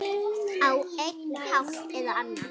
Á einn hátt eða annan.